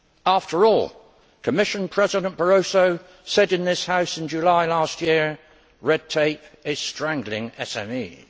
After all, Commission President Barroso said in this House in July last year red tape is strangling SMEs'.